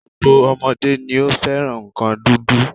Gbogbo ọmọdé ni ó fẹ́ràn nǹkan dídùn